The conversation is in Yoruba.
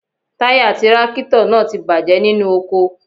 Táyà tírákítọ̀ náà bàjẹ́ nínú oko.